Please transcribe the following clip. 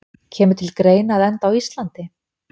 Kemur til greina að enda á Íslandi?